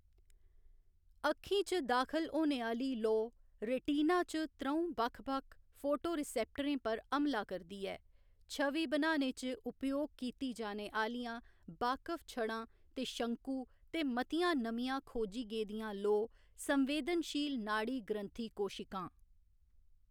अक्खी च दाखल होने आह्‌ली लोऽ रेटिना च त्र'ऊं बक्ख बक्ख फोटोरिसेप्टरें पर हमला करदी ऐ छवि बनाने च उपयोग कीती जाने आह्‌‌‌लियां बाकफ छड़ां ते शंकु ते मतियां नमियां खोजी गेदियां लोऽ संवेदनशील नाड़ी ग्रन्थि कोशिकां।